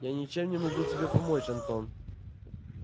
я ничем не могу тебе помочь антон